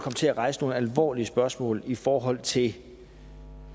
til at rejse nogle alvorlige spørgsmål i forhold til